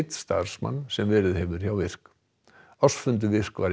starfsmann sem verið hefur hjá virk ársfundur virk var